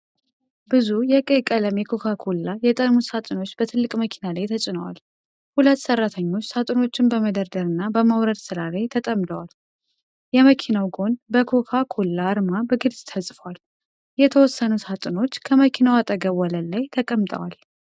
ብዙ የቀይ ቀለም የኮካ ኮላ የጠርሙስ ሳጥኖች በትልቅ መኪና ላይ ተጭነዋል። ሁለት ሰራተኞች ሳጥኖቹን በመደርደር እና በማውረድ ሥራ ላይ ተጠምደዋል። የመኪናው ጎን በ'ኮካ ኮላ' አርማ በግልጽ ተጽፏል። የተወሰኑ ሳጥኖች ከመኪናው አጠገብ ወለል ላይ ተቀምጠዋል።